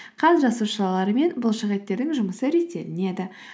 қан жасушалары мен бұлшықеттердің жұмысы реттелінеді